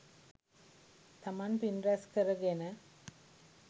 තමන් පින් රැස් කරගෙන,